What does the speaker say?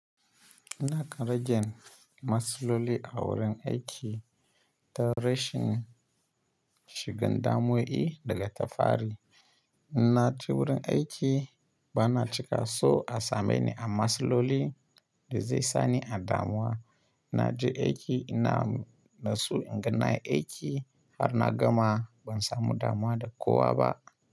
Ina kan ragen masloli a wurin aiki ta rashin shigan damuwo yi daga tafari. Na ji wurin aiki ba na cika so a same ni a masloli da zai sani a damuwa. Na ji aiki ina na so inga nayi aiki har na gama ban samu damuwa da kowa ba.